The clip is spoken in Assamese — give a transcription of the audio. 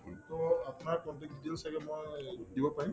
to আপোনাৰ contact details ছাগে মই you tube